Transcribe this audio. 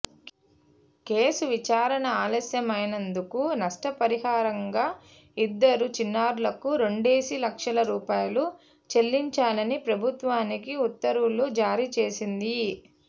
case విచారణ ఆలస్యమైనందుకు నష్టపరిహారంగా ఇద్దరు చిన్నారులకు రెండేసి లక్షల రూపాయలు చెల్లించాలని ప్రభుత్వానికి ఉత్తర్వులు జారీ చేసింది